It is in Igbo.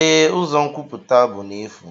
Ee, ụzọ nkwupụta bụ n'efu.